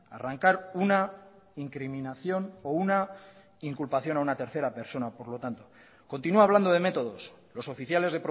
arrancar una incriminación o una inculpación a una tercera persona por lo tanto continúa hablando de métodos los oficiales